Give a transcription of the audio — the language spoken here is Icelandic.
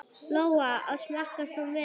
Lóa: Og smakkast hún vel?